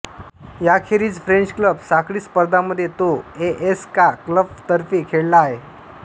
याखेरीज French club साखळी स्पर्धांमध्ये तो ए एस कां क्लबातर्फे खेळला आहे